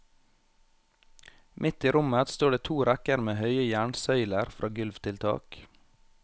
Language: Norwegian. Midt i rommet står det to rekker med høye jernsøyler fra gulv til tak.